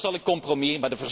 Dat was al een compromis.